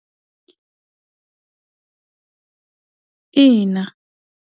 Ina.